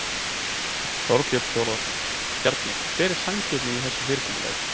Þorbjörn Þórðarson: Bjarni hver er sanngirnin í þessu fyrirkomulagi?